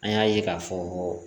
An y'a ye k'a fɔ